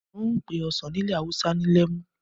N ó pé ọsàn ní ilẹ̀ awúsá ní lemu